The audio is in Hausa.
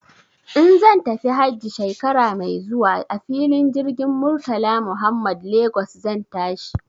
In zan tafi hajji shekara mai zuwa a filin jirgin Murtala Muhammad Lagos zan tashi.